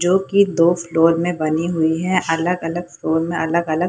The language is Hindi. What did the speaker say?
जो कि दो फ्लोर में बनी हुई है अलग-अलग फ्लोर में अलग-अलग --